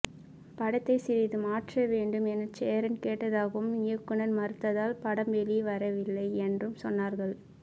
படத்தை சிறிது மாற்றவேண்டும் என சேரன் கேட்டதாகவும் இயக்குநர் மறுத்ததால் படம் வெளிவரவேயில்லை என்றும் சொன்னார்கள்